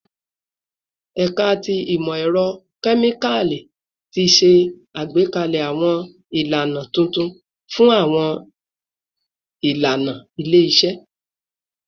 Ẹka ti Imọ-ẹrọ Kemikali ti ṣe agbekalẹ awọn ilana tuntun fun awọn ilana ile-iṣẹ